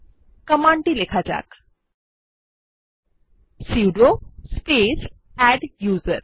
কমান্ডটি লেখা যাক সুদো স্পেস আদ্দুসের